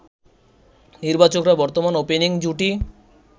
নির্বাচকরা বর্তমান ওপেনিং জুটি